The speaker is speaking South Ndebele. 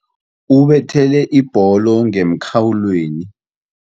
Ubethele ibholo ngemkhawulweni.